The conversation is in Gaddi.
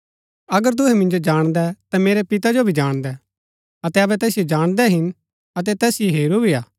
अगर तूहै मिन्जो जाणदै ता मेरै पितै जो भी जाणदै अतै अबै तैसिओ जाणदै हिन अतै तैसिओ हेरू भी हा